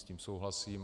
S tím souhlasím.